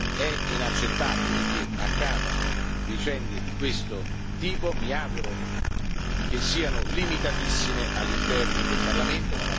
È inaccettabile che accadano vicende di questo tipo, mi auguro che siano limitatissime all'interno del Parlamento.